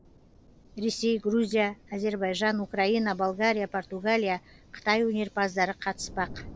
ресей грузия әзербайжан украина болгария португалия қытай өнерпаздары қатыспақ